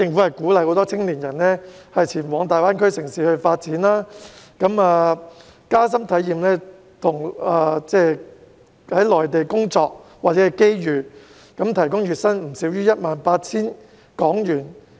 為鼓勵青年人前往大灣區城市發展，加深體驗內地的工作或機遇，特區政府提供了 2,000 個月薪不少於 18,000 港元的職位。